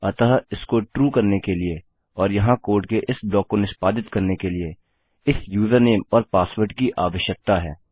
अतः इसको ट्रू करने के लिए और यहाँ कोड के इस ब्लॉक को निष्पादित करने के लिए इस यूजरनेम और पासवर्ड की आवश्यकता है